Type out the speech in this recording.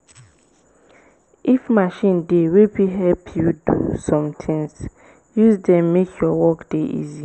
if machine dey wey fit help you do some things use dem make your work dey easy